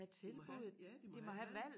De må have ja de må have et valg